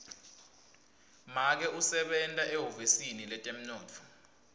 make usebenta ehhovisi letemnotfo